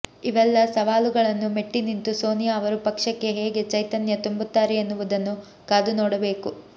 ಇವೆಲ್ಲ ಸವಾಲುಗಳನ್ನು ಮೆಟ್ಟಿನಿಂತು ಸೋನಿಯಾ ಅವರು ಪಕ್ಷಕ್ಕೆ ಹೇಗೆ ಚೈತನ್ಯ ತುಂಬುತ್ತಾರೆ ಎನ್ನುವುದನ್ನು ಕಾದು ನೋಡಬೇಕು